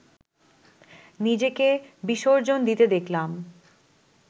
নিজেকে বিসর্জন দিতে শিখলাম